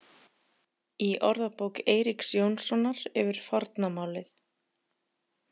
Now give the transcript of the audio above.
Í orðabók Eiríks Jónssonar yfir forna málið.